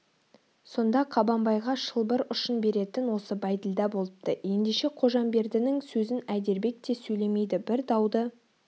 сонда қабанбайға шылбыр ұшын беретін осы бәйділда болыпты ендеше қожамбердінің сөзін әйдербек те сөйлемейді бір дауды